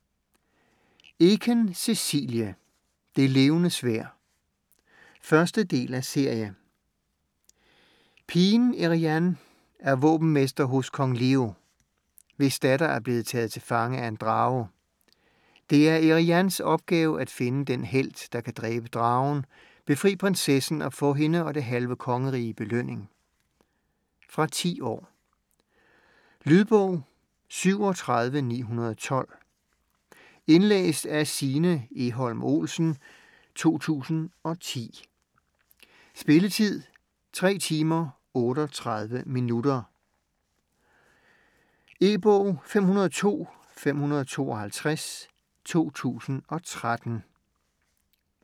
Eken, Cecilie: Det Levende Sværd 1. del af serie. Pigen Eriann er våbenmester hos Kong Leo, hvis datter er blevet taget til fange af af en drage. Det er Erianns opgave at finde den helt, der kan dræbe dragen, befri prinsessen og få hende og det halve kongerige i belønning. Fra 10 år. Lydbog 37912 Indlæst af Signe Egholm Olsen, 2010. Spilletid: 3 timer, 38 minutter. E-bog 502552 2013.